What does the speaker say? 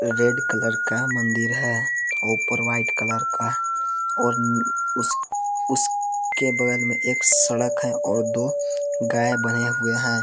Red colour का मंदिर है औ ऊपर वाइट कलर का और उम्म् उस उस के बगल में एक सड़क है और दो गाय बंधे हुए हैं।